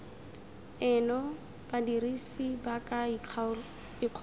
eno badirisi ba ka ikgolaganya